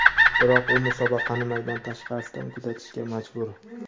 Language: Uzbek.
biroq u musobaqani maydon tashqarisidan kuzatishga majbur.